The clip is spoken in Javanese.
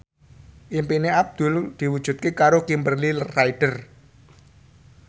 impine Abdul diwujudke karo Kimberly Ryder